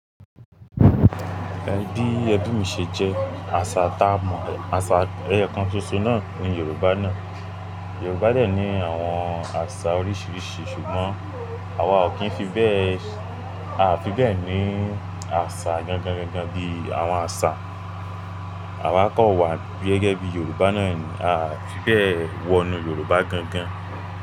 Ẹbí ẹbí mi ṣe jẹ́ àṣà tá mọ̀, àṣà ẹyẹ kan ṣoṣo náà ní Yorùbá náà. Yorùbá dẹ́ ní àwọn àṣà oríṣìíríṣìí ṣùgbọ́n àwa ò kí ń fi bẹ́ẹ̀, a fi bẹ́ẹ̀ ní àṣà gangan gangan bí àwọn àṣà àwa kọ́ wà gẹ́gẹ́ bí Yorùbá náà ni a fi bẹ́ẹ̀ wọnú Yorùbá gangan.